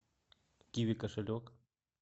киви кошелек